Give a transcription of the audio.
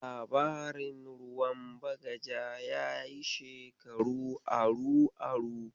Labarin ruwan bagaja yayi shekaru aru-aru.